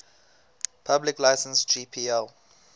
public license gpl